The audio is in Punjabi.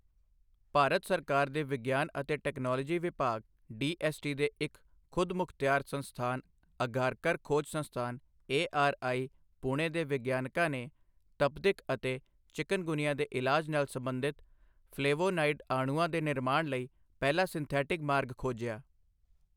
ਭਾਰਤ ਸਰਕਾਰ ਦੇ ਵਿਗਿਆਨ ਅਤੇ ਟੈਕਨੋਲੋਜੀ ਵਿਭਾਗ ਡੀਐੱਸਟੀ ਦੇ ਇੱਕ ਖੁਦਮੁਖਤਿਆਰ ਸੰਸਥਾਨ ਅਘਾਰਕਰ ਖੋਜ ਸੰਸਥਾਨ ਏਆਰਆਈ, ਪੁਣੇ ਦੇ ਵਿਗਿਆਨਕਾਂ ਨੇ ਤਪਦਿਕ ਅਤੇ ਚਿਕਨਗੁਨੀਆ ਦੇ ਇਲਾਜ ਨਾਲ ਸਬੰਧਿਤ ਫਲੇਵੋਨਾਈਡ ਅਣੂਆਂ ਦੇ ਨਿਰਮਾਣ ਲਈ ਪਹਿਲਾ ਸਿੰਥੈਟਿਕ ਮਾਰਗ ਖੋਜਿਆ ਹੈ।